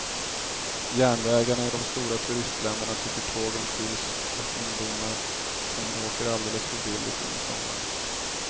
Järnvägarna i de stora turistländerna tycker tågen fylls av ungdomar som åker alldeles för billigt under somrarna.